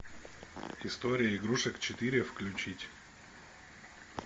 история игрушек четыре включить